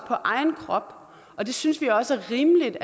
på egen krop det synes vi også er rimeligt